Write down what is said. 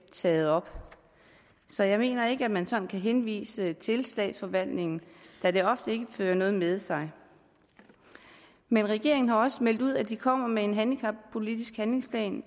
taget op så jeg mener ikke at man sådan kan henvise til statsforvaltningen da det ofte ikke fører noget med sig men regeringen har også meldt ud at man vil komme med en handicappolitisk handlingsplan